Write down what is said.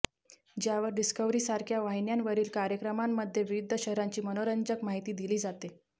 ज्यावर डिस्कव्हरीसारख्या वाहिन्यांवरील कार्यक्रमांमध्ये विविध शहरांची मनोरंजक माहिती दिली जाते